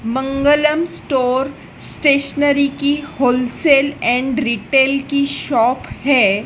मंगलम store stationery की wholesale and retail की shop है।